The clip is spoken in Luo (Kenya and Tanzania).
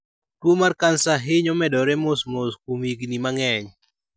Tuo mar kansa hinyo medore mos mos kuom higini mang'eny.